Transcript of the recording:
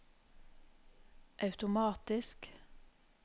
automatisk